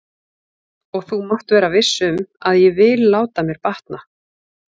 Og þú mátt vera viss um að ég vil láta mér batna.